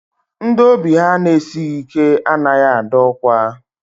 Ndị obi ha na-esighi ike anaghị adọ ọkwa.